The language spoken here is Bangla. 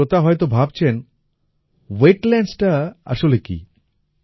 কিছু শ্রোতা হয়তো ভাবছেন ওয়েটল্যান্ডস টা আসলে কী